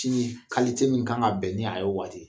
Sinji min kan ka bɛn ni a ye o waati